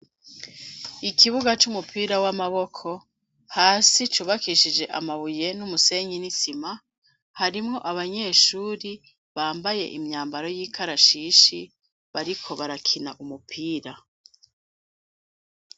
Ikibuga c'umupira w'amaboko hasi cubakishije amabuye n'umusenyi n'isima harimwo abanyeshuri bambaye imyambaro y'ikarashishi bariko barakina umupira.